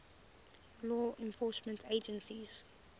law enforcement agencies